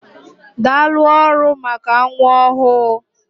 Daalụ ọrụ maka nwa ọhụụ.